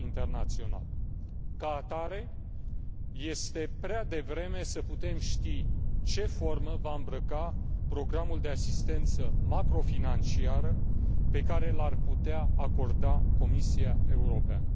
Ca atare, este prea devreme să putem ști ce formă va îmbrăca programul de asistență macrofinanciară pe care l ar putea acorda Comisia Europeană.